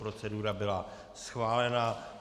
Procedura byla schválena.